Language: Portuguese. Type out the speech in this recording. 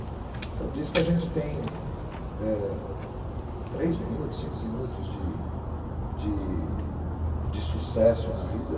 Então diz que a gente tem três minutos, cinco minutos de sucesso na vida.